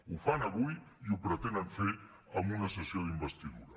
ho fan avui i ho pretenen fer amb una sessió d’investidura